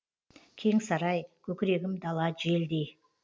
кең сарай көкірегім дала желдей